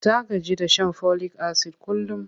Ta gaji da shan folik-asid kullum.